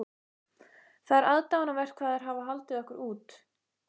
Það er aðdáunarvert hvað þær hafa haldið okkur út.